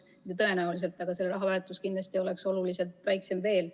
Tõenäoliselt oleks selle raha väärtus oluliselt väiksem.